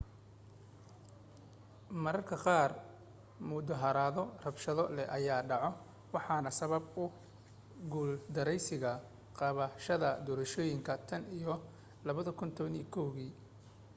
marmarka qaar mudaharaado rabshado leh ayaa dhacay waxaana sababay ku guuldaraysiga qabashada doorashooyinka tan iyo 2011kii